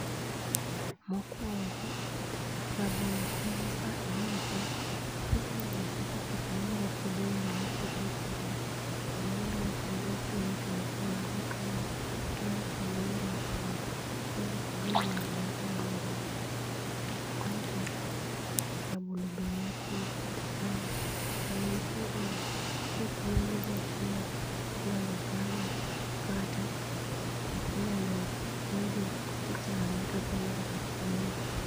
Mokuongo rabolo konyo ka iuse, kiseuse to pesa no inyalo tiyo go e yore ma opogore opogore sa moro onyalo konyi e chulo fee mar nyithindo, onyalo konyi e rwakruok, onyalo konyi e ng'iewo gi moro ma onge ot, aito rabolo be nya konyo kaka chiemo, sa ma en tiere no ko okwoge ma ochiele to inyalo chame kata inyalo tede ti ichame to okonyo kaka chiemo.